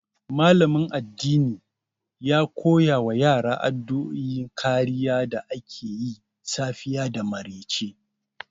Malamin addini ya koya wa yara addu'o'in kariya da ake yi safiya da maryace.